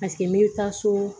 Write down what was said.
Paseke n bɛ taa so